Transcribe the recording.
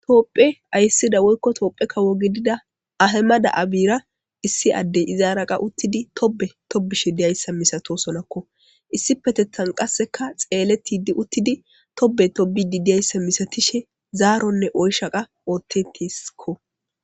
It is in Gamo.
Topphe ayssida woykko toophe ka wo gidida ahema da7a biira issi addey izaaraqa uttidi tobe tobishe diyayssa misato sonakko issi petetan qasseka xeele tidi uttidi tobe tobidi diyayssa misatishe zaaronne oyshaqa ootte tisekko.